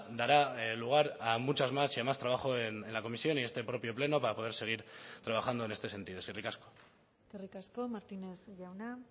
dará lugar a muchas más y a más trabajo en la comisión y este propio pleno para poder seguir trabajando en este sentido eskerrik asko eskerrik asko martínez jauna